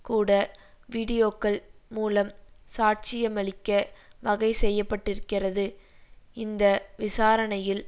கூட வீடியோக்கள் மூலம் சாட்சியமளிக்க வகை செய்ய பட்டிருக்கிறது இந்த விசாரணையில்